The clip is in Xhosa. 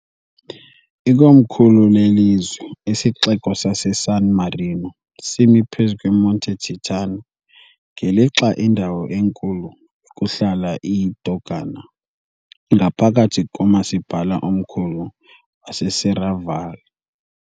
Ikomkhulu lelizwe, isiXeko saseSan Marino, simi phezu kweMonte Titano, ngelixa indawo enkulu yokuhlala iyiDogana ngaphakathi komasipala omkhulu waseSerravalle .